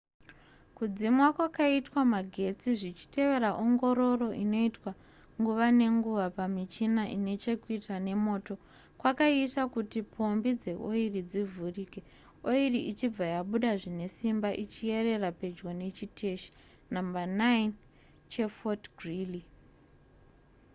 kudzimwa kwakaitwa magetsi zvichitevera ongororo inoitwa nguva nenguva pamichina ine chekuita nemoto kwakaita kuti pombi dzeoiri dzivhurike oiri ichibva yabuda zvine simba ichiyerera pedyo nechiteshi nhamba 9 chefort greely